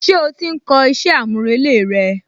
Ṣé ó ti ń kọ iṣẹ́ àmúrelé rẹ?